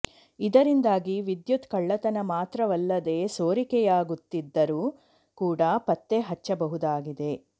ಇದರಿಂದಾಗಿ ವಿದ್ಯುತ್ ಕಳ್ಳತನ ಮಾತ್ರವಲ್ಲದೆ ಸೋರಿಕೆಯಾಗುತ್ತಿದ್ದರೂ ಕೂಡ ಪತ್ತೆ ಹಚ್ಚಬಹುದಾಗಿದೆ